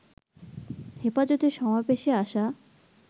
হেফাজতের সমাবেশে আসা